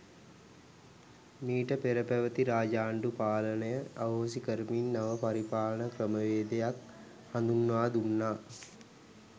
මීට පෙර පැවැති රාජාණ්ඩු පාලනය අහෝසි කරමින් නව පරිපාලන ක්‍රමවේදයක් හඳුන්වා දුන්නා.